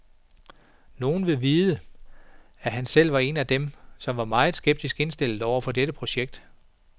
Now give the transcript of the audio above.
Nogen vil vide, at han selv var en af dem, som var meget skeptisk indstillet over for dette projekt.